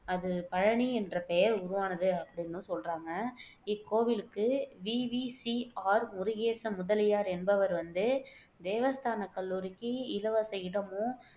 அது பழனி என்ற பெயர் உருவானது அப்படின்னும் சொல்றாங்க இக்கோவிலுக்கு V. V. C. R. Murugesa Mudaliar என்பவர் வந்து தேவஸ்தான கல்லூரிக்கு இலவச இடமும்